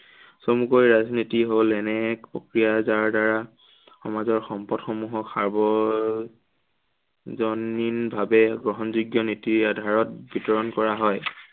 চমুকৈ ৰাজনীতি হল এনে এক প্ৰক্ৰিয়া, যাৰ দ্বাৰা সমাজৰ সম্পদসমূহক সাৰ্ব জনীন ভাৱে গ্ৰহণ যোগ্য় নীতিৰ আধাৰত বিতৰণ কৰা হয়।